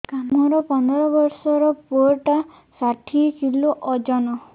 ମୋର ପନ୍ଦର ଵର୍ଷର ପୁଅ ଟା ଷାଠିଏ କିଲୋ ଅଜନ